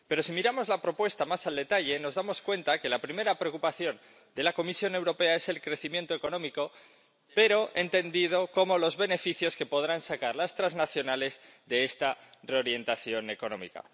Pero si miramos la propuesta más al detalle, nos damos cuenta de que la primera preocupación de la Comisión Europea es el crecimiento económico, pero entendido como los beneficios que podrán sacar las transnacionales de esta reorientación económica.